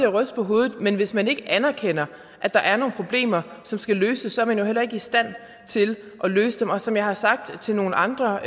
ryste på hovedet men hvis man ikke anerkender at der er nogle problemer som skal løses er man jo heller ikke i stand til at løse dem som jeg har sagt til nogle andre